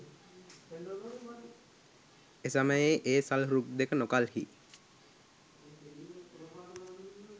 එසමයෙහි ඒ සල් රුක් දෙක නොකල්හී